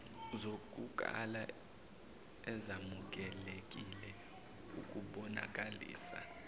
zokukala ezamukelekile ukubonakalisa